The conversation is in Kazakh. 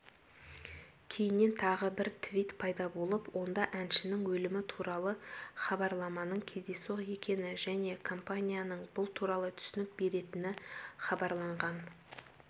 кейіннен тағы бір твит пайда болып онда әншінің өлімі туралы хабарламаның кездейсоқ екені және компанияның бұл туралы түсінік беретіні хабарланған